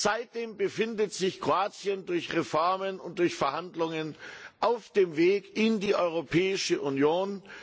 Seitdem befindet sich Kroatien durch Reformen und durch Verhandlungen auf dem Weg in die Europäische Union.